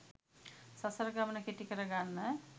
සසර ගමන කෙටි කර ගන්න